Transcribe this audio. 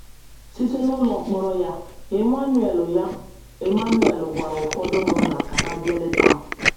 Site n’ụlọ mkpọrọ ya, Emmanuel ya, Emmanuel gwara ụfọdụ ụmụnna ka ha bịa leta m.